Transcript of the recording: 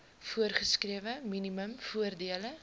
voorgeskrewe minimum voordele